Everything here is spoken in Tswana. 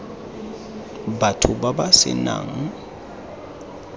batho ba ba se nang